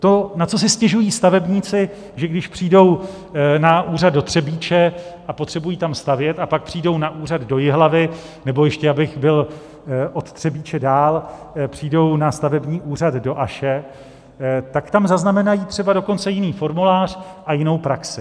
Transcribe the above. To, na co si stěžují stavebníci, že když přijdou na úřad do Třebíče a potřebují tam stavět, a pak přijdou na úřad do Jihlavy nebo ještě, abych byl od Třebíče dál, přijdou na stavební úřad do Aše, tak tam zaznamenají třeba dokonce jiný formulář a jinou praxi.